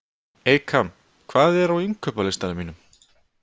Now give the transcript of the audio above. Eykam, hvað er á innkaupalistanum mínum?